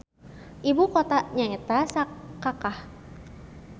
Ibu kotana nyaeta Sakakah.